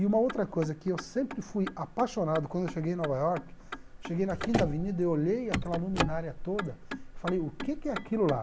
E uma outra coisa que eu sempre fui apaixonado, quando eu cheguei em Nova York, cheguei na quinta Avenida e olhei aquela luminária toda, falei, o que que é aquilo lá?